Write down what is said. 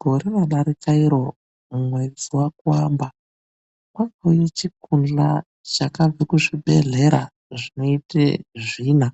Gore radarika iro mumwedzi wakuamba kwakauye chikundhla chakabve kuzvibhedhlera zvinoite zvina.